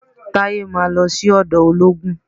Taye máa lọ sí ọ̀dọ̀ olóògùn